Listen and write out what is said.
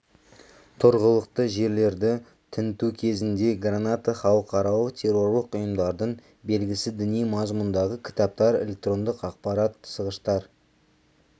тұрғылықты жерлерді тінту кезінде граната халықаралық террорлық ұйымдардың белгісі діни мазмұндағы кітаптар электрондық ақпарат тасығыштар